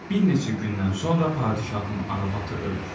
Bir neçə gündən sonra padşahın arvadı ölür.